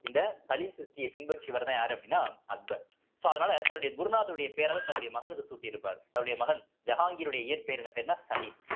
இந்த சலீம் சிஷ்டி பின்பற்றியவர்தான் யாரு அப்படின்னா அக்பர் so அதனால தன்னுடைய குருநாதருடைய பேர தன்னுடைய மகனுக்கு சூட்டி இருப்பாரு தன்னுடைய மகன் ஜஹாங்கிருடைய இயற்பெயர் என்ன பேருன்னா சலீம்